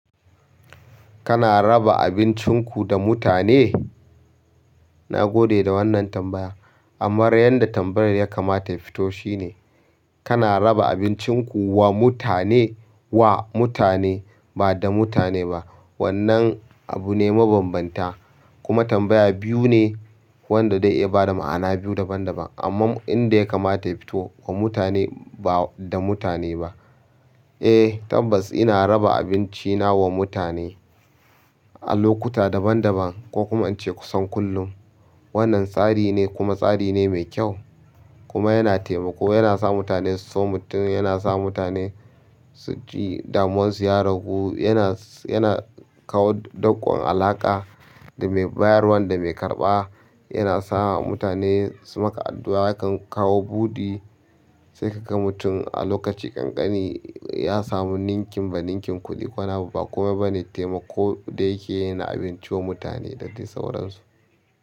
Kana raba abincinku da mutane? Na gode da wannan tambaya, ammar yanda tambayar ya kamata ya fito shine, kana raba abincinku wa mutane wa mutane ba da mutane ba. Wannan abune mabambanta, kuma tambaya biyu ne wanda dai ya ba da ma'ana biyu daban-daban. Amma inda ya kamata ya fito wa mutane ba da mutane ba. Eh tabbas ina raba abinci na wa mutane a lokuta daban-daban ko kuma ance kusan kullum. Wannan tsari ne kuma tsari ne mai kyau kuma yana taimako, yana sa mutane su so mutum, yana sa mutane su ji damuwarsu ya ragu, yana, yana kawo doƙon alaƙa da mai bayarwa da mai karɓa, yana sa mutane su maka addu'a yakan kawo buɗi. Sai ka ga mutum a lokaci ƙanƙani ya samu ninkin ba ninkin kuɗi kowa ba kuma bana taimako da yake yana abinci wa mutane da dai sauransu.